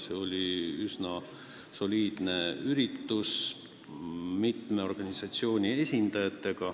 See oli üsna soliidne üritus, kus osalesid mitme organisatsiooni esindajad.